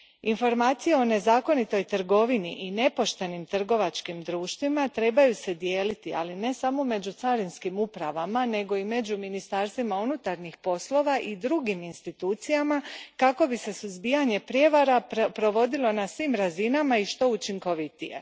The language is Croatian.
Informacije o nezakonitoj trgovini i nepoštenim trgovačkim društvima trebaju se dijeliti, ali ne samo među carinskim upravama nego i među ministarstvima unutarnjih poslova i drugim institucijama kako bi se suzbijanje prijevara provodilo na svim razinama i što učinkovitije.